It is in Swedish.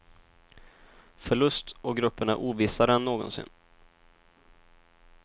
Förlust och gruppen är ovissare än någonsin.